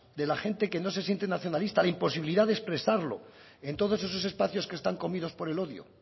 de la gente que no se siente nacionalista la imposibilidad de expresarlo en todos esos espacios que están comidos por el odio